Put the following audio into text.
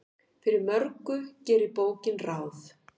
Fyrir mörgu gerir bókin ráð.